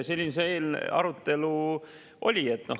Selline see arutelu oli.